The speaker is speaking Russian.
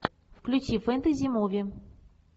включи фэнтези муви